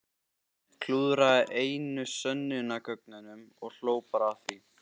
Klúðraði einu sönnunargögnunum og hló bara að því!